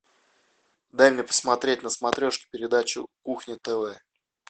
дай мне посмотреть на смотрешке передачу кухня тв